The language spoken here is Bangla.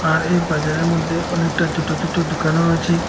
আর এই বাজারের মধ্যে অনেকটা ছোটো ছোটো দোকানও রয়েছে।